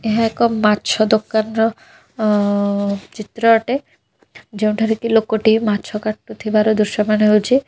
ଏହା ଏକ ମାଛ ଦୋକାନର ଅ ଚିତ୍ର ଅଟେ ଯେଉଁଠାରେ କି ଲୋକଟିଏ ମାଛ କାଟୁଥିବାର ଦୃଶ୍ୟମାନ ହୋଉଚି।